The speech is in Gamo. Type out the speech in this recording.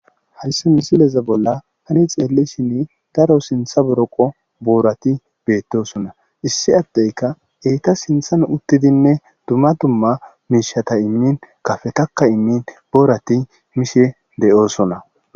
Hayssi missileza tani xelishin daro sintha boroqqo borathi bethossona. Issi addekka eththa sinthan uttidine dumma dumma mishatha imin kafethakka imin borathi mishe deo'ssonna.